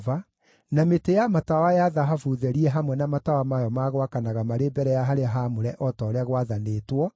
na mĩtĩ ya matawa ya thahabu therie hamwe na matawa mayo ma gwakanaga marĩ mbere ya harĩa haamũre o ta ũrĩa gwathanĩtwo;